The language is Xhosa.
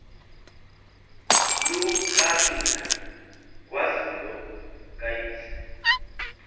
lukanina nkazimlo kayise